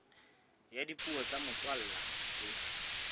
ya dipuo tsa motswalla tse